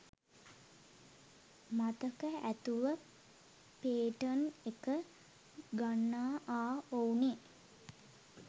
මතක ඇතුව පේටන් එක ගන්නආ ඔවුනෙ.